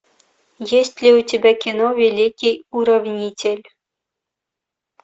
есть ли у тебя кино великий уравнитель